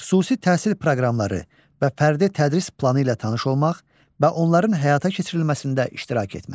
Xüsusi təhsil proqramları və fərdi tədris planı ilə tanış olmaq və onların həyata keçirilməsində iştirak etmək.